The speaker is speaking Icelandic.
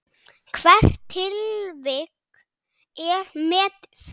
Hvert tilvik er metið.